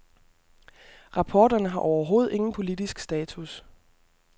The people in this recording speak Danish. Rapporterne har overhovedet ingen politisk status.